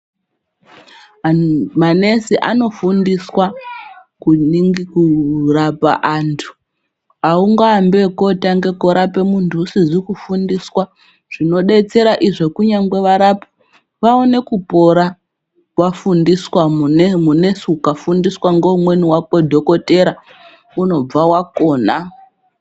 MaNesi anofundiswa kurapa anthu aungaambi ekotanga kurapa munthu usizi kufundiswa zvinodetsera izvo kunyangwe varapwi vaone kupora. Vafundiswa, MuNesi ukafundiswa ngoumweni wake Dhokodhera unobva wakona.